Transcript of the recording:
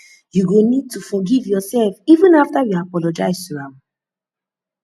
you go need to forgive yoursef even afta you apologize to am